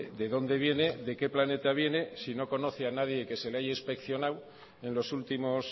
de donde viene de qué planeta viene si no conoce a nadie que se le haya inspeccionadoen los últimos